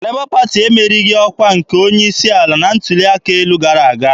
Lebọ Pati emerighị ọkwa onye isi ala na ntuli aka elu gara aga.